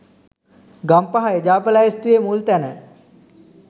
ගම්පහ එජාප ලැයිස්තුවේ මුල් තැන